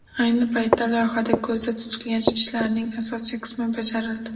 Ayni paytda loyihada ko‘zda tutilgan ishlarning asosiy qismi bajarildi.